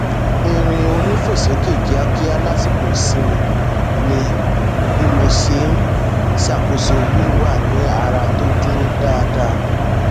irin onífòsókè kíákíá lásìkò ìsinmi ni bí mo ṣe n ṣàkóso wíwà ní ara tó dúró dáadáa